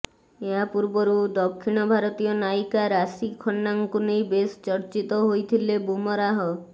ଏହା ପୂର୍ବରୁ ଦକ୍ଷିଣ ଭାରତୀୟ ନାୟିକା ରାଶି ଖନ୍ନାଙ୍କୁ ନେଇ ବେଶ ଚର୍ଚିତ ହୋଇଥିଲେ ବୁମରାହ